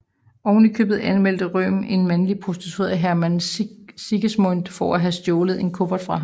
Oven i købet anmeldte Röhm en mandlig prostitueret Hermann Siegesmund for at have stjålet en kuffert fra ham